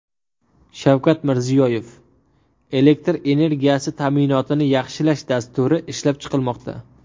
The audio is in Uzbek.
Shavkat Mirziyoyev: Elektr energiyasi ta’minotini yaxshilash dasturi ishlab chiqilmoqda.